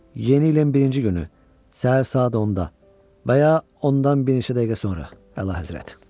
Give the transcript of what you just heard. Yeni ilin birinci günü səhər saat 10-da və ya ondan bir neçə dəqiqə sonra, Əlahəzrət.